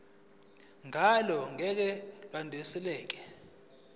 ngalo ngeke lwadluliselwa